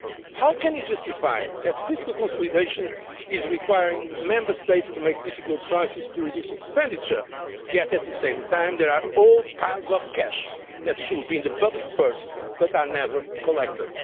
up? How can we justify the fact that fiscal consolidation is requiring Member States to make difficult choices to reduce expenditure yet at the same time there are whole piles of cash that should be in the public purse but are never collected?